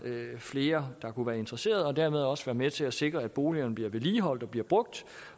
flere der kunne være interesseret kan dermed også være med til at sikre at boligerne bliver vedligeholdt og bliver brugt